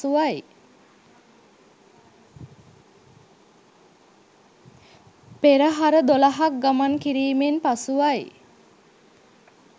පෙරහර 12 ක් ගමන් කිරීමෙන් පසුවයි.